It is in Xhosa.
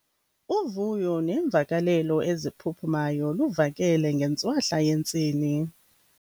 Uvuyo neemvakalelo eziphuphumayo luvakale ngentswahla yentsini.